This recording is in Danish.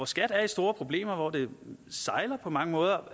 skat er i store problemer hvor det på mange måder